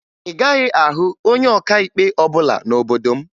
Ị gaghị ahụ onye ọkaikpe ọbụla n'obodo m